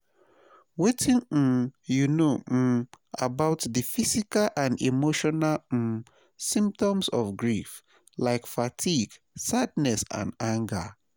Wetin um you know um about di physical and emotional um symptoms of grief, like fatigue, sadness and anger?